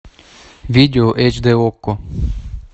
видео эйч дэ окко